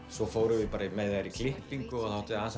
svo fórum við með þær í klippingu og það átti að